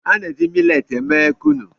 A na-eji miletị eme Kunu.